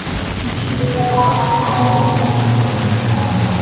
Ikkinchisi – faqat qazoni vojib qiladigan holatlar.